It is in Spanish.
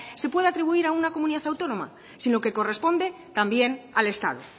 se puede atribuir a una comunidad autónoma sino que corresponde también al estado